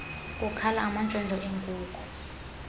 kukhala amantshontsho enkuku